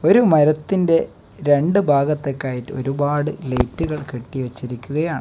ഒരു മരത്തിന്റെ രണ്ട് ഭാഗത്തൊക്കെ ആയിട്ട് ഒരുപാട് ലൈറ്റുകൾ കെട്ടി വെച്ചിരിക്കുകയാണ്.